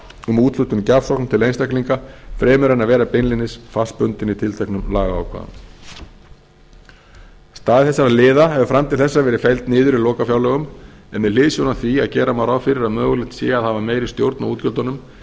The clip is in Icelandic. um úthlutun gjafsókna til einstaklinga fremur en að vera beinlínis fastbundin í tilteknum lagaákvæðum staða þessara liða hefur fram til þessa verið felld niður í lokafjárlögum en með hliðsjón af því að gera má ráð fyrir að mögulegt sé að hafa meiri stjórn á útgjöldunum